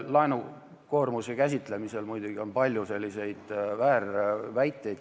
Laenukoormuse käsitlemisel on olnud muidugi palju väärväiteid.